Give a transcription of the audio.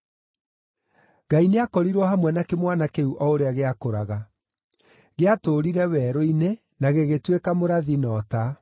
Ngai nĩakorirwo hamwe na kĩmwana kĩu o ũrĩa gĩakũraga. Gĩatũũrire werũ-inĩ, na gĩgĩtuĩka mũrathi na ũta.